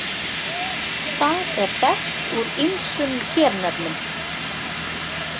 Það er þekkt úr ýmsum sérnöfnum.